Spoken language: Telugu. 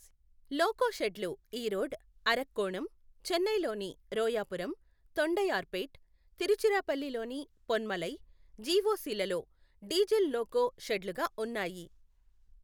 లోకో షెడ్లు ఈరోడ్, అరక్కోణం, చెన్నైలోని రోయాపురం, తొండైయార్పేట్, తిరుచిరాపల్లిలోని పొన్మలై, జిఒసి లలో డీజిల్ లోకో షెడ్లుగా ఉన్నాయి.